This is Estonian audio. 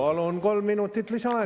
Palun kolm minutit lisaaega.